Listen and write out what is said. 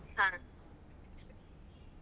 ಹ.